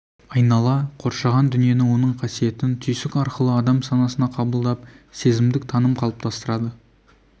айнала қоршаған дүниені оның қасиетін түйсік арқылы адам санасына қабылдап сезімдік таным қалыптастырады